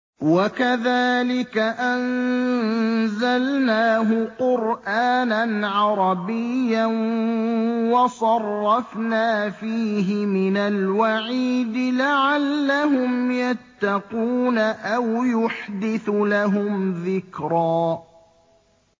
وَكَذَٰلِكَ أَنزَلْنَاهُ قُرْآنًا عَرَبِيًّا وَصَرَّفْنَا فِيهِ مِنَ الْوَعِيدِ لَعَلَّهُمْ يَتَّقُونَ أَوْ يُحْدِثُ لَهُمْ ذِكْرًا